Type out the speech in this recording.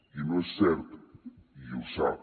i no és cert i ho sap